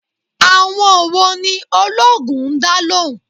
Àwọn wo ni oloogun ń dá lóhùn?